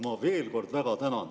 Ma veel kord väga tänan.